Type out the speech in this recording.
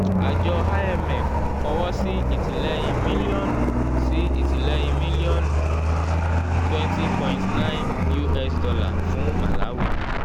àjọ imf fọwọ́ sí ìtìlẹ́yìn mílíọ̀nù sí ìtìlẹ́yìn mílíọ̀nù twenty point nine us dollar fún malawi